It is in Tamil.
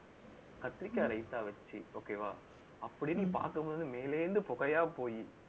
கத்திரிக்காய் ரைத்தா வச்சு, okay வா அப்படியே நீ பார்க்கும் போது, மேலே இருந்து புகையா போயி